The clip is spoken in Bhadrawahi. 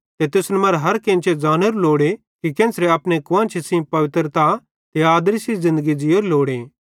ते तुसन मरां हर केन्चे ज़ानोरू लोड़े कि केन्च़रां अपने कुआन्शी सेइं पवित्रता ते आदरी सेइं ज़िन्दगी ज़ीयोरी लोड़े